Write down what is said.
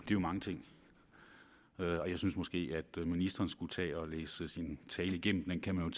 jo mange ting og jeg synes måske at ministeren skulle tage og læse sin tale igennem den kan man